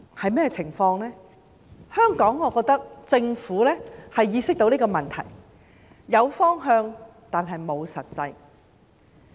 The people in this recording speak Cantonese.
我認為香港政府意識到問題所在，有方向，但沒有實際行動。